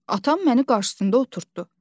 Atam məni qarşısında oturtdu.